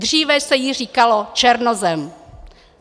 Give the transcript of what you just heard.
Dříve se jí říkalo černozem."